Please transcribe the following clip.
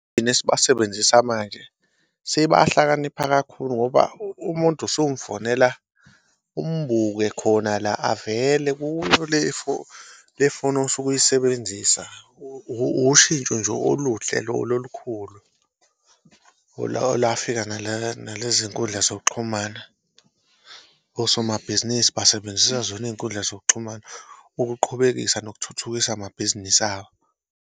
Esibasebenzisa manje sebahlakanipha kakhulu ngoba umuntu usumfonela umbuke khona la avele kuyo le foni osuke uyisebenzisa, ushintsho nje oluhle lolukhulu olwafika nalezi nkundla zokuxhumana. Osomabhizinisi basebenzisa zona iy'nkundla zokuxhumana ukuqhubekisa nokuthuthukisa amabhizinisi abo.